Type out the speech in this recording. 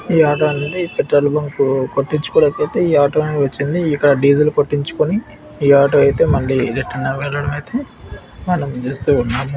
ఈ ఆటో ఏంటంటే ఈ పెట్రోల్ బంక్ కొట్టించుకోవడానికి అయితే ఈ ఆటో అనేది వచ్చింది. ఇక్కడ డీజిల్ కొట్టించుకొని ఈ ఆటో అయితే మళ్లీ రిటర్న్ వేళ్లడం అయితే మనం చూస్తూ ఉన్నాము.